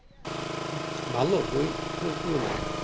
ভালো বই আপনার কি মনে হয়?